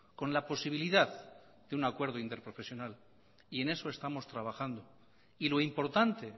con la posibilidad de un acuerdo interprofesional y en eso estamos trabajando y lo importante